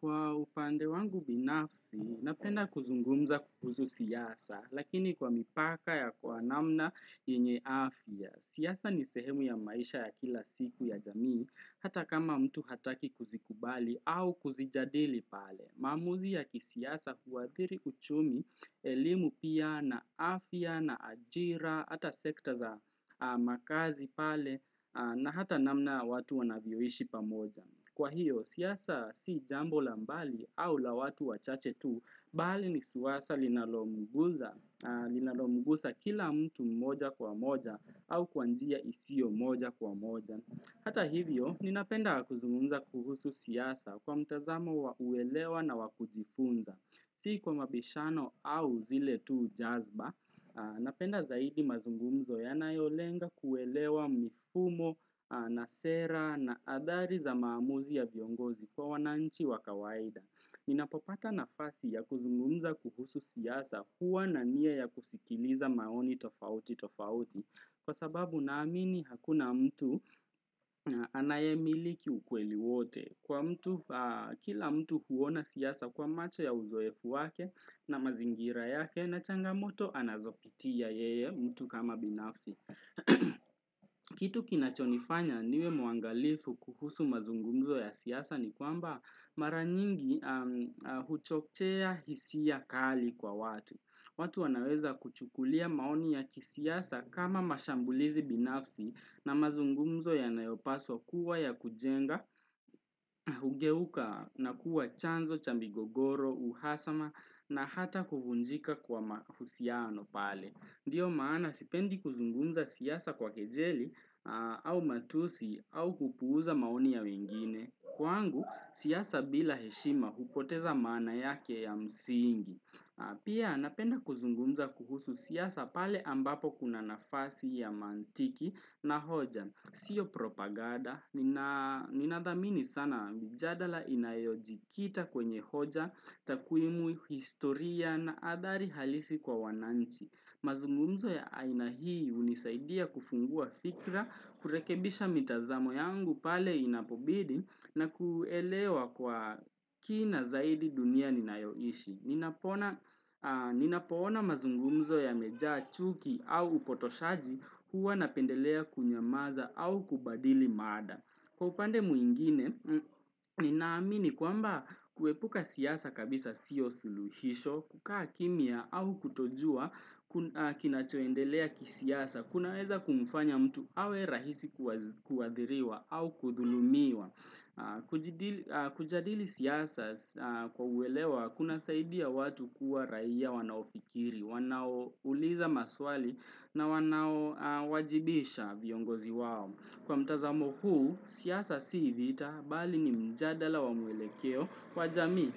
Kwa upande wangu binafsi, napenda kuzungumza kuhuzu siyasa, lakini kwa mipaka ya kwa namna yenye afya. Siasa ni sehemu ya maisha ya kila siku ya jamii, hata kama mtu hataki kuzikubali au kuzijadili pale. Maamuzi ya kisiasa huathiri uchumi elimu pia na afya, na ajira, hata sekta za makazi pale, na hata namna watu wanavyoishi pamoja. Kwa hiyo, siasa si jambo la mbali au la watu wachache tu, bali ni suwasa linalomugusa kila mtu mmoja kwa moja au kwa njia isio mmoja kwa moja. Hata hivyo, ninapenda kuzungumza kuhusu siasa kwa mtazamo wa uelewa na wa kujifunza. Si kwa mabishano au zile tuu jazba, napenda zaidi mazungumzo yanayolenga kuelewa mifumo na sera na athari za maamuzi ya viongozi kwa wananchi wa kawaida. Ninapopata nafasi ya kuzungumza kuhusu siasa huwa na nia ya kusikiliza maoni tofauti tofauti. Kwa sababu naamini hakuna mtu anayemiliki ukweli wote. Kwa mtu, kila mtu huona siasa kwa macho ya uzoefu wake na mazingira yake na changamoto anazopitia yeye mtu kama binafsi. Kitu kinachonifanya niwe mwangalifu kuhusu mazungumzo ya siasa ni kwamba mara nyingi huchochea hisia kali kwa watu watu wanaweza kuchukulia maoni ya kisiasa kama mashambulizi binafsi na mazungumzo yanayopaswa kuwa ya kujenga Hugeuka na kuwa chanzo, cha migogoro, uhasama na hata kuvunjika kwa mahusiano pale Ndiyo maana sipendi kuzungunza siasa kwa kejeli au matusi au kupuuza maoni ya wengine. Kwangu, siyasa bila heshima hupoteza maana yake ya msingi. Pia napenda kuzunguza kuhusu siasa pale ambapo kuna nafasi ya mantiki na hoja. Sio propaganda, ninathamini sana mjadala inayojikita kwenye hoja, takwimu, historia na athari halisi kwa wananchi. Mazungumzo ya aina hii hunisaidia kufungua fikra, kurekebisha mitazamo yangu pale inapobidi na kuelewa kwa kina zaidi dunia ninayoishi. Ninapoona mazungumzo yamejaa chuki au upotoshaji huwa napendelea kunyamaza au kubadili mada. Kwa upande mwingine, ninaamini kwamba kuepuka siasa kabisa siyo suluhisho, kukaa kimya au kutojua kinachoendelea kisiasa, kunaweza kumfanya mtu awe rahisi kuathiriwa au kudhulumiwa. Kujadili siasa kwa uelewa, kunasaidia watu kuwa raia wanaofikiri, wanaouliza maswali na wanaowajibisha viongozi wao. Kwa mtazamo huu, siasa si vita, bali ni mjadala wa mwelekeo kwa jamii.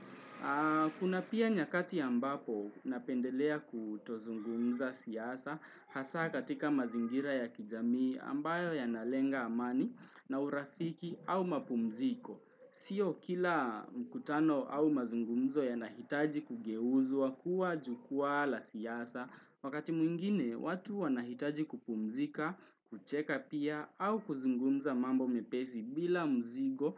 Kuna pia nyakati ambapo napendelea kutozungumza siasa hasa katika mazingira ya kijamii ambayo yanalenga amani na urafiki au mapumziko. Sio kila mkutano au mazungumzo yanahitaji kugeuzwa kuwa jukwaa la siasa. Wakati mwingine, watu wanahitaji kupumzika, kucheka pia, au kuzungumza mambo mepesi bila mzigo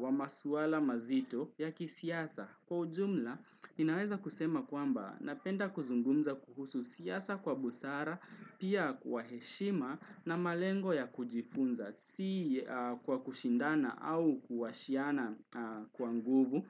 wa maswala mazito ya kisiasa. Kwa ujumla, ninaweza kusema kwamba napenda kuzungumza kuhusu siasa kwa busara, pia kwa heshima na malengo ya kujifunza, si kwa kushindana au kuwashiana kwa nguvu.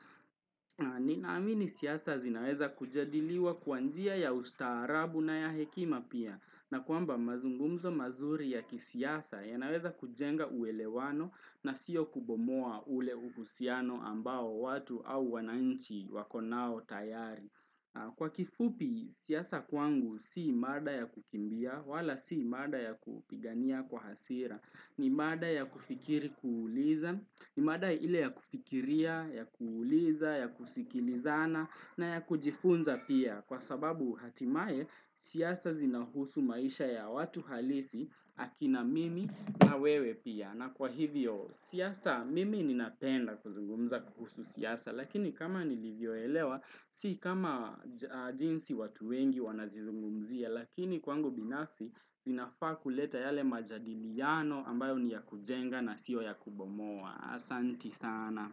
Ninaamini siasa zinaweza kujadiliwa kwa njia ya ustaarabu na ya hekima pia na kwamba mazungumzo mazuri ya kisiasa yanaweza kujenga uelewano na sio kubomoa ule uhusiano ambao watu au wananchi wako nao tayari Kwa kifupi siasa kwangu si mada ya kukimbia wala si mada ya kupigania kwa hasira ni mada ya kufikiri kuuliza, ni mada ile ya kufikiria, ya kuuliza, ya kusikilizana na ya kujifunza pia kwa sababu hatimaye siasa zinahusu maisha ya watu halisi akina mimi na wewe pia. Na kwa hivyo siasa mimi ninapenda kuzungumza kuhusu siasa lakini kama nilivyoelewa si kama jinsi watu wengi wanazizungumzia lakini kwangu binafsi vinafaa kuleta yale majadiliano ambayo ni ya kujenga na siyo ya kubomoa. Asanti sana.